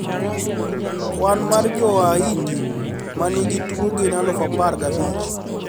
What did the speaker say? Kwan mar Jowaindi manigi tuo gin aluf apar gabich